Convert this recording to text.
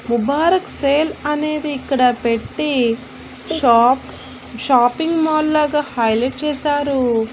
Mubarak sale అనేది ఇక్కడ పెట్టి షాప్స్ షాపింగ్ మాల్ లాగా హైలైట్ చేసారు.